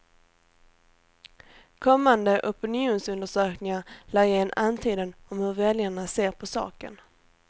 Kommande opinionsundersökningar lär ge en antydan om hur väljarna ser på saken.